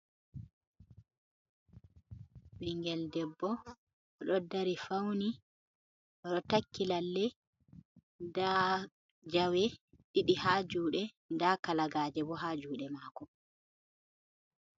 Ɓingel debbo oɗo dari fauni oɗo takki lalle nda jawe ɗiɗi ha juɗe, nda kalagaje bo ha juɗe mako.